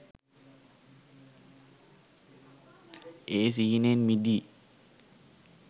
ඒ සිහිනෙන් මිදී